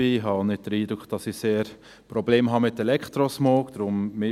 Ich habe auch nicht den Eindruck, dass ich mit Elektrosmog sehr Probleme habe.